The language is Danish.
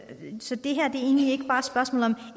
dem så det her er egentlig ikke bare et spørgsmål om en